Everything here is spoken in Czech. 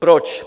Proč?